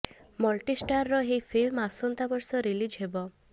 multi ଷ୍ଟାରର ଏହି film ଆସନ୍ତା ବର୍ଷ ରିଲିଜ୍ ହେବ